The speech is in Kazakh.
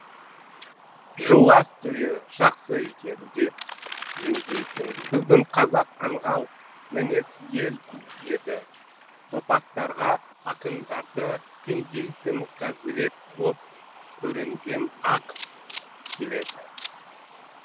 жуас түйе жақсы екен деп жүндейтін біздің қазақ аңғал мінез ел еді топастарға ақындарды күндейтінқазірет боп көрінгім ақ келеді